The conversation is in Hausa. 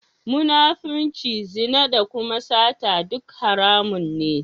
Munafirci, zina da kuma sata duk haramun ne.